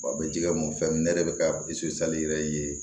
Wa a bɛ jikɛ mun fɛn ne yɛrɛ bɛ ka yɛrɛ ye